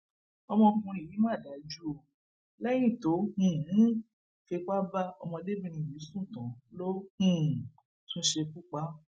ọkùnrin yìí mà dájú o lẹyìn tó um fipá bá ọmọdébìnrin yìí sùn tán ló um tún ṣekú pa á